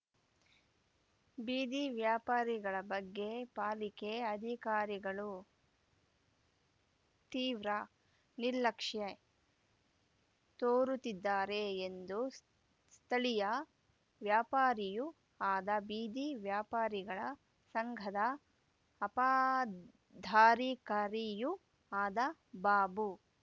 ಬೀದಿ ವ್ಯಾಪಾರಿಗಳ ಬಗ್ಗೆ ಪಾಲಿಕೆ ಅಧಿಕಾರಿಗಳು ತೀವ್ರ ನಿರ್ಲಕ್ಷ್ಯೆ ತೋರುತ್ತಿದ್ದಾರೆ ಎಂದು ಸ್ಥಳೀಯ ವ್ಯಾಪಾರಿಯೂ ಆದ ಬೀದಿ ವ್ಯಾಪಾರಿಗಳ ಸಂಘದ ಅಪಾದ್ದಾರಿಕಾರಿಯೂ ಆದ ಬಾಬು